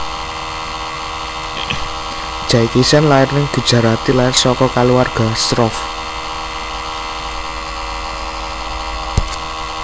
Jaikishen lair ning Gujarati lair saka kaluwarga Shroff